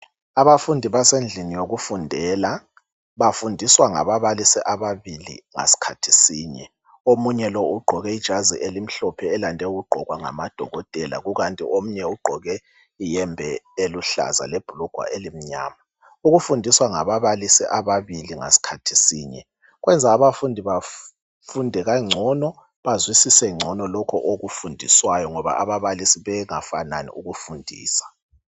Abafundi basendlini yokufundela bafundiswa ngababalisi ababili ngasikhathi sinye. Omunye lo ugqoke ijazi elimhlophe elande ukugqokwa ngamadokotela kukanti omunye ugqoke iyembe eluhlaza lebhulugwa elimnyama. Ukufundiswa ngababalisi ababili ngasikhathi sinye kwenza abafundi bafunde kangcono, bazwisise ngcono lokho okufundiswayo ngoba ababalisi bengafanani ukufundisa.